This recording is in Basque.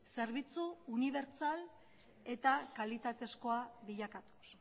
zerbitzu unibertsal eta kalitatezkoa bilakatuz